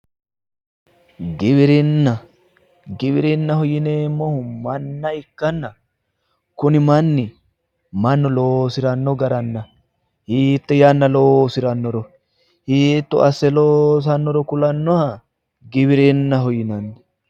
giwirinna giwirinnaho yineemmohu manna ikkanna kuni manni mannu loosiranno garanna hiitte yanna loosirannoro hiitto asse loosanoro kulannoha giwirinnaho yinanni.